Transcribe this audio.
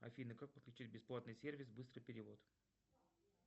афина как подключить бесплатный сервис быстрый перевод